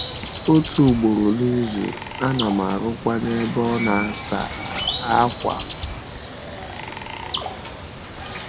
Otu ugboro n’izu, ana m arụkwa n’ebe a na - asa ákwà.